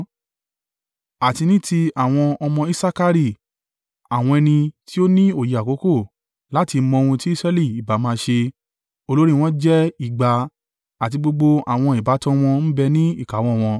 Àti ní ti àwọn ọmọ Isakari, àwọn ẹni tí ó ní òye àkókò, láti mọ ohun tí Israẹli ìbá máa ṣe; olórí wọn jẹ́ ìgbà; àti gbogbo àwọn ìbátan wọn ń bẹ ní ìkáwọ́ wọn.